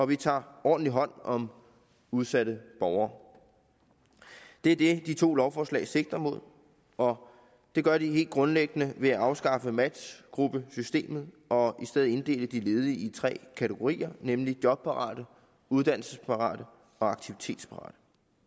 vi tager ordentligt hånd om udsatte borgere det er det de to lovforslag sigter mod og det gør de helt grundlæggende ved at afskaffe matchgruppesystemet og i stedet inddele de ledige i tre kategorier nemlig jobparate uddannelsesparate og aktivitetsparate